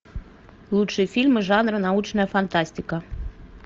лучшие фильмы жанра научная фантастика